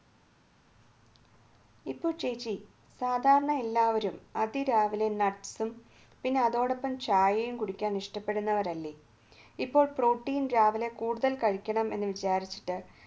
ഇപ്പോൾ ചേച്ചി സാധാരണ എല്ലാവരും അതിരാവിലെ nuts പിന്നെ അതോടൊപ്പം ചായയും കുടിക്കാൻ ഇഷ്ടപ്പെടുന്നവരല്ലേ ഇപ്പോൾ പ്രോട്ടീൻ രാവിലെ കൂടുതൽ കഴിക്കണം എന്ന് വിചാരിച്ചിട്ട്